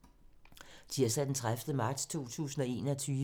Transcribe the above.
Tirsdag d. 30. marts 2021